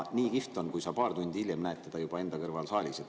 Nii kihvt on, kui sa paar tundi hiljem näed teda juba enda kõrval saalis.